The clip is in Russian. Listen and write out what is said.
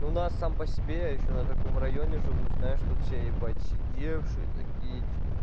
у нас сам по себе я ещё на таком районе живу знаешь тут все ебать сидевшие такие типа